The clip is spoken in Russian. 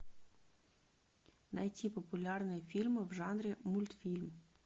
найти популярные фильмы в жанре мультфильм